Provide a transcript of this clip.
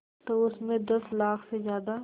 तो उस में दस लाख से ज़्यादा